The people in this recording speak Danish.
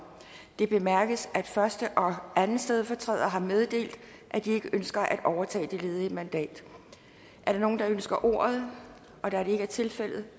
det bemærkes at første og anden stedfortræder har meddelt at de ikke ønsker at overtage det ledige mandat er der nogen der ønsker ordet da det ikke er tilfældet